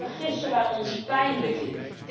Daar vergissen wij ons pijnlijk in.